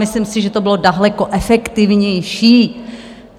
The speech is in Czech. Myslím si, že to bylo daleko efektivnější.